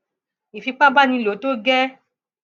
ifipá bá ní ló pọ tó gẹẹ